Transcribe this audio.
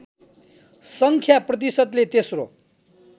सङ्ख्या प्रतिशतले तेस्रो